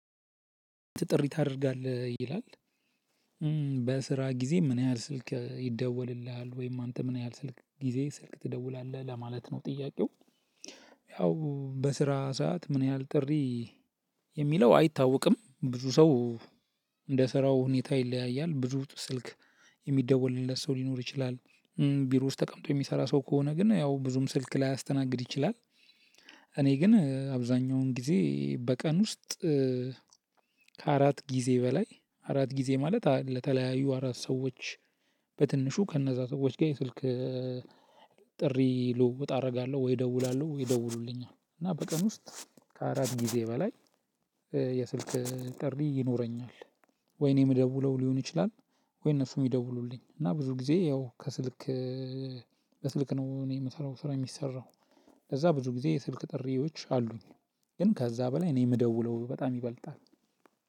ጥሪ ታደርጋለህ ይላል በስራ ጊዜ ምን ያህል ስልክ ይደወልልሃል ወይም አንተ ምን ያህል ስልክ ጊዜ ስልክ ትደውላለህ ለማለት ነው ጥያቄው ያው በስራ ሰዓት ምን ያህል ጥሪ የሚለው አይታወቅም ብዙ ሰው እንደ ስራው ሁኔታ ይለያያል ብዙ ስልክ የሚደወልለት ሰው ሊኖር ይችላል ቢሮ ውስጥ ተቀምጦ የሚሰራ ሰው ከሆነ ግን ያው ብዙም ስልክ ላይ አስተናግድ ይችላል። እኔ ግን አብዛኛውን ጊዜ በቀን ውስጥ ከአራት ጊዜ በላይ አራት ጊዜ ማለት ለተለያዩ አራት ሰዎች በትንሹ ከነዛ ሰዎች ጋር የስልክ ጥሪ ልውውጥ አደርጋለሁ ወይ እደውላለሁ ወይ ይደውሉልኛል። እና በቀን ውስጥ ከአራት ጊዜ በላይ የስልክ ጥሪ ይኖረኛል። ወይ እኔ የምደውለው ሊሆን ይችላል ወይ እነሱ የሚደውሉልኝ። እና ብዙ ጊዜ ያው ከስልክ በስልክ ነው እኔ የምሰራው ስራ የሚሰራው። ከዛ ብዙ ጊዜ የስልክ ጥሪዎች አሉኝ። ግን ከዛ በላይ ነው የምደውለው በጣም ይበልጣል።